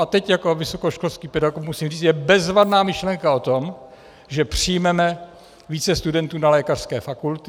A teď jako vysokoškolský pedagog musím říct, je bezvadná myšlenka o tom, že přijmeme více studentů na lékařské fakulty.